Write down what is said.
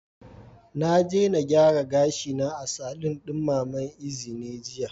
Na je na gyara gashina a saloon mama Ezine jiya.